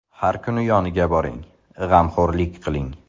Har kuni yoniga boring, g‘amxo‘rlik qiling.